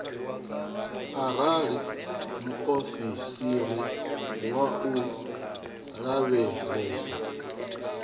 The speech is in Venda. arali muofisiri wa u lavhelesa